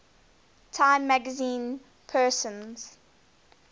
time magazine persons